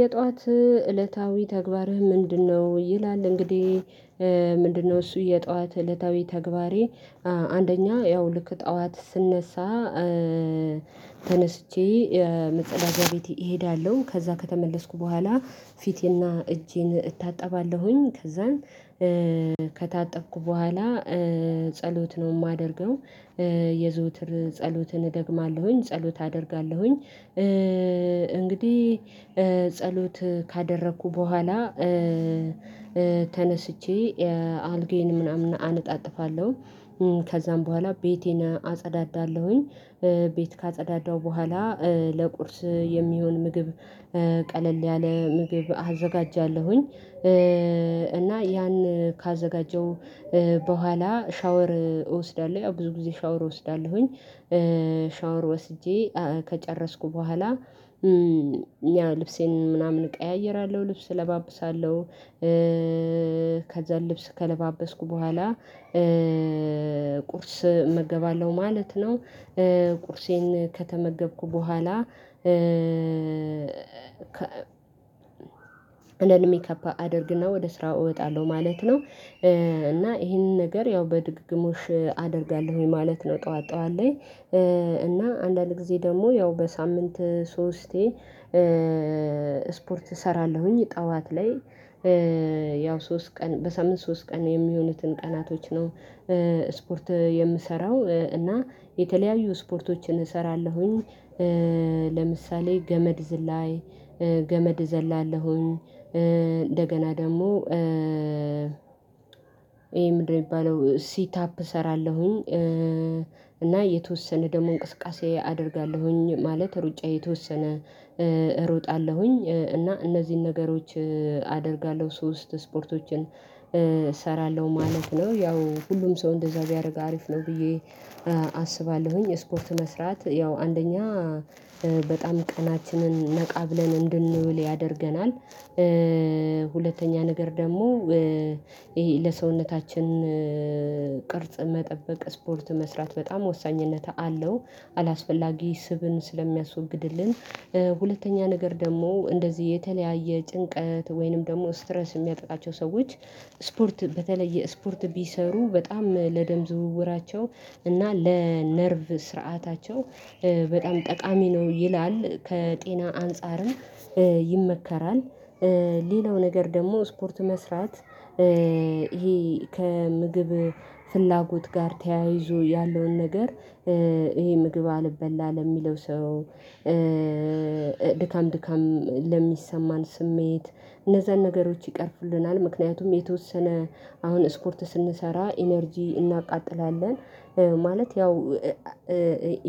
የጧት እለታዊ ተግባርህ ምንድነው? ይላል እንግዲህ ምንድነው እሱ የጠዋት እለታዊ ተግባሬ። አንደኛ ያው ልክ ጠዋት ስነሳ ተነስቼ መጸዳጃ ቤት እሄዳለሁ። ከዛ ከተመለስኩ በኋላ ፊቴና እጄን እታጠባለሁኝ። ከዛም ከታጠብኩ በኋላ ጸሎት ነው የማደርገው የዘወትር ጸሎትን እደግማለሁኝ ጸሎት አደርጋለሁኝ። እንግዲህ ጸሎት ካደረኩ በኋላ ተነስቼ አልጋዬን ምናምን አነጣጥፋለሁ። ከዛም በኋላ ቤቴን አጸዳዳለሁኝ። ቤት ካጸዳዳሁ በኋላ ለቁርስ የሚሆን ምግብ ቀለል ያለ ምግብ አዘጋጃለሁኝ። እና ያን ካዘጋጀው በኋላ ሻወር እወስዳለሁ ያው ብዙ ጊዜ ሻወር እወስዳለሁኝ። ሻወር ወስጄ ከጨረስኩ በኋላ ያው ልብሴን ምናምን እቀያይራለሁ ልብስ እለባብሳለሁ። ከዛ ልብስ ከለባበስኩ በኋላ ቁርስ እመገባለሁ ማለት ነው። ቁርሴን ከተመገብኩ በኋላ ለልሜካፕ አደርግና ወደ ስራ እወጣለሁ ማለት ነው። እና ይሄንን ነገር ያው በድግግሞሽ አደርጋለሁኝ ማለት ነው። ጠዋት ጠዋት ላይ እና አንዳንድ ጊዜ ደግሞ ያው በሳምንት ሶስቴ። ስፖርት እሰራለሁኝ ጠዋት ላይ ያው ሶስት ቀን በሳምንት ሶስት ቀን የሚሆኑትን ቀናቶች ነው። ስፖርት የምሰራው እና የተለያዩ ስፖርቶችን እሰራለሁኝ። ለምሳሌ ገመድ ዝላይ ገመድ ዘላለሁኝ። እንደገና ደግሞ ይሄ ምንድነው? የሚባለው ሲት አፕ እሰራለሁኝ። እና የተወሰነ ደግሞ እንቅስቃሴ አደርጋለሁኝ ማለት ሩጫ የተወሰነ እሮጣለሁኝ እና እነዚህን ነገሮች አደርጋለሁ። ሶስት ስፖርቶችን እሰራለሁ ማለት ነው። ያው ሁሉም ሰው እንደዛ ቢያደርግ አሪፍ ነው ብዬ አስባለሁኝ። ስፖርት መስራት ያው አንደኛ በጣም ቀናችንን ነቃ ብለን እንድንውል ያደርገናል። ሁለተኛ ነገር ደግሞ ይሄ ለሰውነታችን ቅርጽ መጠበቅ ስፖርት መስራት በጣም ወሳኝነት አለው። አላስፈላጊ ስብን ስለሚያስወግድልን ሁለተኛ ነገር ደግሞ እንደዚህ የተለያየ ጭንቀት ወይንም ደግሞ ስትረስ የሚያጠቃቸው ሰዎች ስፖርት በተለየ ስፖርት ቢሰሩ በጣም ለደም ዝውውራቸው እና ለነርቭ ስርዓታቸው በጣም ጠቃሚ ነው። ይላል ከጤና አንፃርም ይመከራል። ሌላው ነገር ደግሞ ስፖርት መስራት ይሄ ከምግብ ፍላጎት ጋር ተያይዞ ያለውን ነገር ይሄ ምግብ አልበላ ለሚለው ሰው ድካም ድካም ለሚሰማን ስሜት እነዛን ነገሮች ይቀርፍልናል። ምክንያቱም የተወሰነ አሁን ስፖርት ስንሰራ ኢነርጂ እናቃጥላለን። ማለት ያው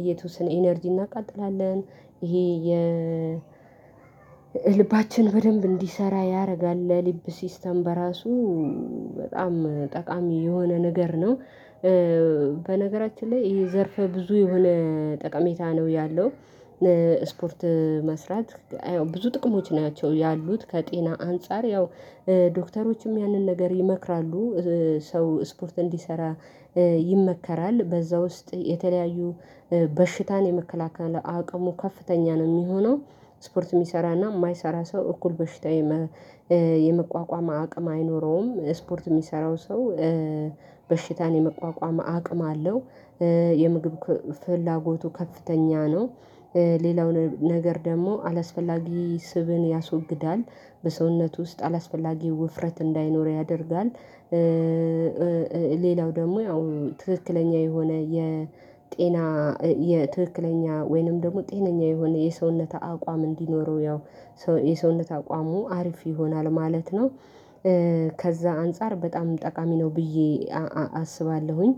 የተወሰነ ኢነርጂ እናቃጥላለን። ይሄ ልባችን በደንብ እንዲሰራ ያደርጋል ለልብ ሲስተም በራሱ በጣም ጠቃሚ የሆነ ነገር ነው። በነገራችን ላይ ይሄ ዘርፈ ብዙ የሆነ ጠቀሜታ ነው ያለው። ስፖርት መስራት ብዙ ጥቅሞች ናቸው ያሉት ከጤና አንፃር ያው ዶክተሮችም ያንን ነገር ይመክራሉ። ሰው ስፖርት እንዲሰራ ይመከራል በዛ ውስጥ የተለያዩ በሽታን የመከላከል አቅሙ ከፍተኛ ነው የሚሆነው። ስፖርት የሚሰራና የማይሰራ ሰው እኩል በሽታ የመቋቋም አቅም አይኖረውም ስፖርት የሚሰራው ሰው በሽታን የመቋቋም አቅም አለው። የምግብ ፍላጎቱ ከፍተኛ ነው። ሌላው ነገር ደግሞ አላስፈላጊ ስብን ያስወግዳል በሰውነቱ ውስጥ አላስፈላጊ ውፍረት እንዳይኖር ያደርጋል። ሌላው ደግሞ ያው ትክክለኛ የሆነ የጤና የትክክለኛ ወይንም ደግሞ ጤነኛ የሆነ የሰውነት አቋም እንዲኖረው ያው የሰውነት አቋሙ አሪፍ ይሆናል ማለት ነው። ከዛ አንፃር በጣም ጠቃሚ ነው ብዬ አስባለሁኝ።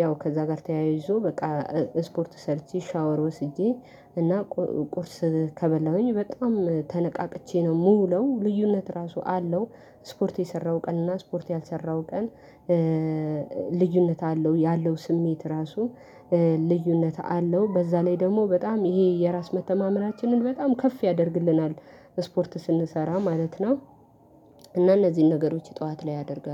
ያው ከዛ ጋር ተያይዞ በቃ ስፖርት ሰርቼ ሻወር ወስጄ እና ቁርስ ከበላሁኝ በጣም ተነቃቅቼ ነው የምውለው ልዩነት ራሱ አለው። ስፖርት የሰራው ቀን እና ስፖርት ያልሰራው ቀን። ልዩነት አለው ያለው ስሜት ራሱ ልዩነት አለው በዛ ላይ ደግሞ በጣም ይሄ የራስ መተማመናችንን በጣም ከፍ ያደርግልናል። ስፖርት ስንሰራ ማለት ነው። እና እነዚህን ነገሮች ጠዋት ላይ አደርጋለሁ